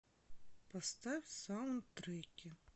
поставь саундтреки